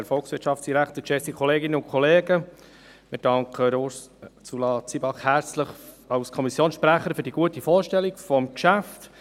Wir danken Ursula Zybach als Kommissionssprecherin herzlich für die gute Vorstellung des Geschäfts.